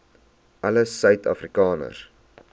alle suid afrikaners